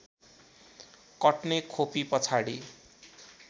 कट्ने खोपी पछाडि